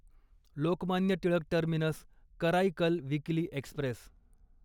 Lokmanya Tilak terminus Karaikal weekly Express